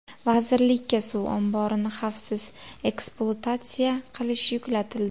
Vazirlikka suv omborini xavfsiz ekspluatatsiya qilish yuklatildi.